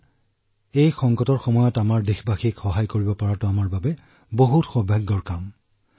sir সংকটৰ এই সময়ত আমি দেশবাসীক সহায় কৰিবলৈ পাই সুখী অনুভৱ কৰিছো আৰু এয়া আমাৰ বাবে সৌভাগ্যৰ কথা